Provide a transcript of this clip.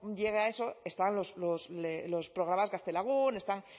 llegue a eso están los programas gaztelagun están